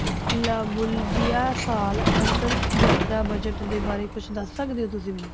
ਸਾਲ ਅੰਤਰ ਯਾਤਰਾ budget ਦੇ ਬਾਰੇ ਕੁਛ ਦੱਸ ਸਕਦੇ ਹੋ ਤੁਸੀਂ ਮੈਨੂੰ?